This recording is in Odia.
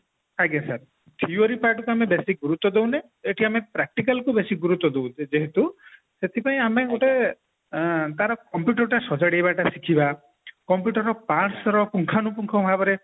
ଯେହେତୁ ଆଜ୍ଞା sir theory part କୁ ଆମେ ବେଶୀ ଗୁରୁତ୍ଵ ଦଉନେ ଆମେ practical କୁ ବେଶୀ ଗୁରୁତ୍ଵ ଦଉଛୁ ଯେହେତୁ ସେଥିପାଇଁ ଆମେ ଗୋଟେ ଆଁ ତାର computer ଟା ସଜାଡିବା ଶିଖିବା computer ର parts ର ପୁଙ୍ଖାନୁପୁଙ୍ଖ ଭାବରେ